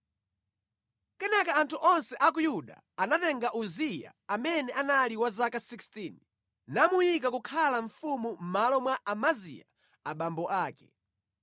Kenaka anthu onse a ku Yuda anatenga Uziya amene anali wa zaka 16, namuyika kukhala mfumu mʼmalo mwa Amaziya abambo ake.